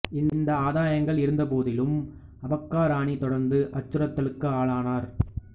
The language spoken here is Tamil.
இந்த ஆதாயங்கள் இருந்தபோதிலும் அபக்கா ராணி தொடர்ந்து அச்சுறுத்தலுக்கு ஆளானார்